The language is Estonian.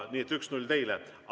Nii et 1 : 0 teile.